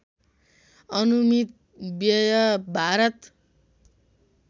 अनुमित व्यय भारत